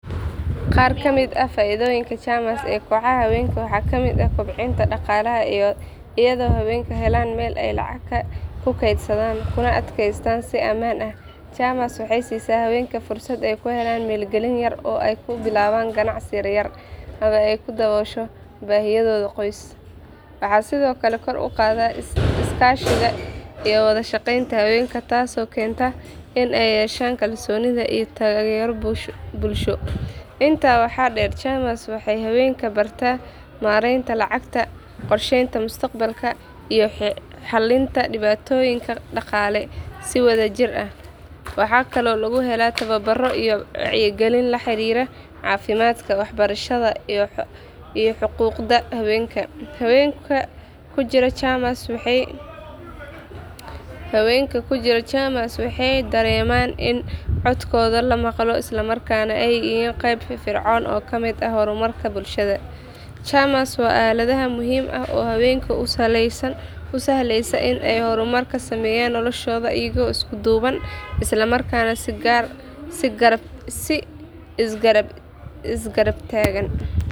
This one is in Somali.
Qaar ka mid ah faa’iidooyinka chamas ee kooxaha haweenka waxaa ka mid ah kobcinta dhaqaalaha iyadoo haweenku helaan meel ay lacag ku keydsadaan kuna kaydsadaan si ammaan ah. Chamas waxay siisaa haweenka fursad ay ku helaan maalgelin yar oo ay ku bilaabaan ganacsi yar yar ama ay ku daboosho baahiyahooda qoys. Waxay sidoo kale kor u qaadaa iskaashiga iyo wada shaqeynta haweenka taasoo keenta in ay yeeshaan kalsooni iyo taageero bulsho. Intaa waxaa dheer chamas waxay haweenka bartaa maareynta lacagta, qorsheynta mustaqbalka iyo xallinta dhibaatooyinka dhaqaale si wadajir ah. Waxaa kaloo lagu helaa tababaro iyo wacyigelin la xiriirta caafimaadka, waxbarashada iyo xuquuqda haweenka. Haweenka ku jira chamas waxay dareemaan in codkooda la maqlo islamarkaana ay yihiin qayb firfircoon oo ka mid ah horumarka bulshada. Chamas waa aalad muhiim ah oo haweenka u sahlaysa in ay horumar ka sameeyaan noloshooda iyagoo isku duuban isla markaana is garab taagan.